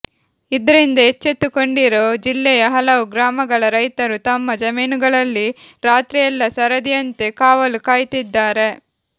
ಇದ್ರಿಂದ ಎಚ್ಚೆತ್ತುಕೊಂಡಿರೋ ಜಿಲ್ಲೆಯ ಹಲವು ಗ್ರಾಮಗಳ ರೈತರು ತಮ್ಮ ಜಮೀನುಗಳಲ್ಲಿ ರಾತ್ರಿಯೆಲ್ಲಾ ಸರದಿಯಂತೆ ಕಾವಲು ಕಾಯ್ತಿದ್ದಾರೆ